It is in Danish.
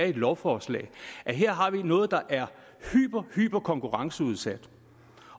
i et lovforslag her har vi noget der er hyper hyper konkurrenceudsat